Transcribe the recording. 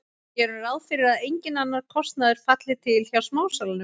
Gerum ráð fyrir að enginn annar kostnaður falli til hjá smásalanum.